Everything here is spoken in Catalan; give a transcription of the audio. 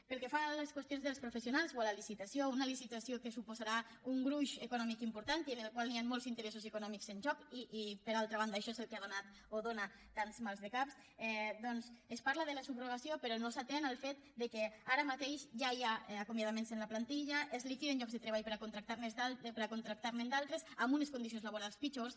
pel que fa a les qüestions dels professionals o a la licitació una licitació que suposarà un gruix econòmic important i en el qual hi han molts interessos econòmics en joc i per altra banda això és el que ha donat o dóna tants maldecaps doncs es parla de la subrogació però no s’atén al fet que ara mateix ja hi ha acomiadaments en la plantilla es liquiden llocs de treball per a contractar ne d’altres amb unes condicions laborals pitjors